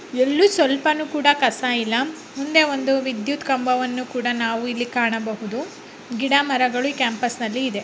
ಎಲ್ಲೂ ಸ್ವಲ್ಪಾನೂ ಕೂಡ ಕಸ ಇಲ್ಲ ಮುಂದೆ ಒಂದು ವಿದ್ಯುತ್ ಕಂಬವನ್ನು ಕೂಡಾ ನಾವು ಕಾಣಬಹುದು ಗಿಡಮರಗಳು ಈ ಕ್ಯಾಂಪಸ್ನಲ್ಲಿ ಇದೆ .